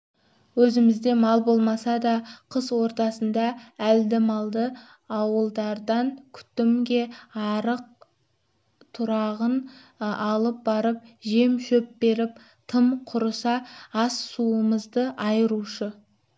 өзімізде мал болмаса да қыс ортасында әлді-малды ауылдардан күтімге арық-тұрағын алып барып жем-шөп беріп тым құрыса ас-суымызды айырушы